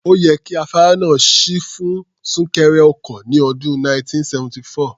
Ó yẹ kí afárá náà ṣí sílẹ̀ fún súnkẹrẹ ọkọ̀ ní ọdún 1974.